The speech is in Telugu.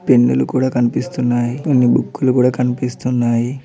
పెన్నులు కూడా కనిపిస్తున్నాయి కొన్ని బుక్కులు కూడా కనిపిస్తున్నాయి.